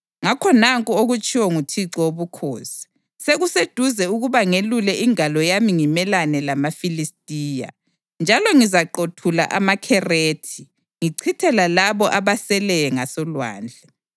ngakho nanku okutshiwo nguThixo Wobukhosi: Sekuseduze ukuba ngelule ingalo yami ngimelane lamaFilistiya, njalo ngizaqothula amaKherethi ngichithe lalabo abaseleyo ngasolwandle.